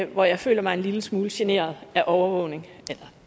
hvor jeg føler mig en lille smule generet af overvågning